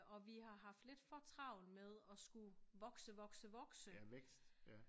Og vi har haft lidt for travlt med og skulle vokse vokse vokse